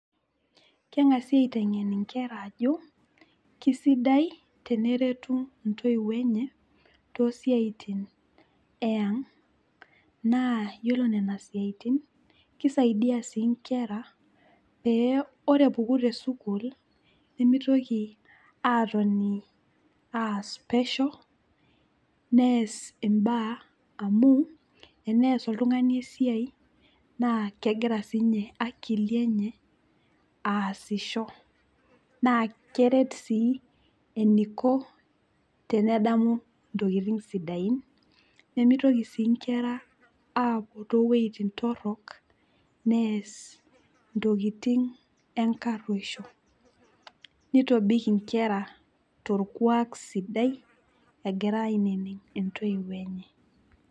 Keng'asi aiteng'en nkera ajo kisidai teneretu ntoiwuo enye tosiatin eang' na iyolo nona siatini na kisaidia nkera. Ore epuku tesukul nemitoki atoni pesho neas imbaa amu enias oltung'ani esiai nakegira akili aasisho na keret si eniko tenedamu ntokitin sidain nimitoki si nkera apuo towuejitin toronok ntokitin enkatwerisho, nitobik nkera torkuak sidai egira aininig ntoiwuo enye.